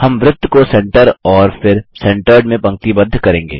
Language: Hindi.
हम वृत्त को सेंटर और फिर सेंटर्ड में पंक्तिबद्ध करेंगे